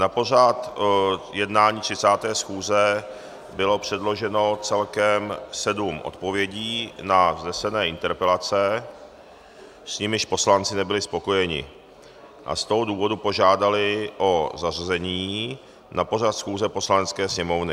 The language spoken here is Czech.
Na pořad jednání 30. schůze bylo předloženo celkem sedm odpovědí na vznesené interpelace, s nimiž poslanci nebyli spokojeni, a z toho důvodu požádali o zařazení na pořad schůze Poslanecké sněmovny.